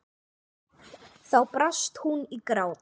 Þá brast hún í grát.